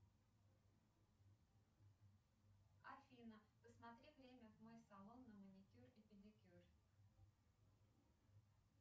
афина посмотри время в мой салон на маникюр и педикюр